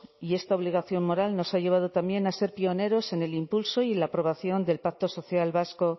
y esta obligación moral nos ha llevado también a ser pioneros en el impulso y en la aprobación del pacto social vasco